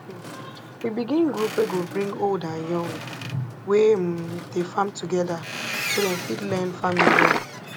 um we begin group wey go bring old and young wey um dey farm together so dem fit learn farming well